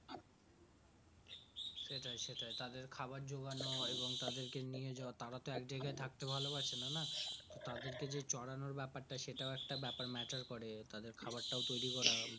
সেটাই সেটাই তাদের খাবার যোগান এবং তাদেরকে নিয়ে যাওয়া তার তো একজায়গা তে থাকতে ভালো বাসেনা না তাদের কে যে চড়ানোর ব্যাপার তা সেটাও একটা ব্যাপার meter করে তাদের খাবার তৌরি করে